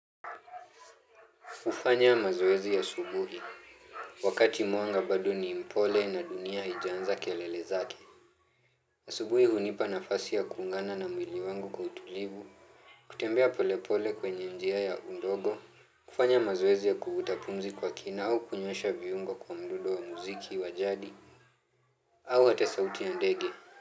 Kufanya mazoezi asubuhi, wakati mwanga bado ni mpole na dunia haijaanza kelele zake. Asubuhi hunipa nafasi ya kuungana na mwili wangu kwa utulivu, kutembea polepole kwenye njia ya undogo, kufanya mazoezi ya kuvuta pumzi kwa kina au kunyoosha viungo kwa mdundo wa muziki wa jadi, au hata sauti ya ndege.